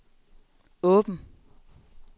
åben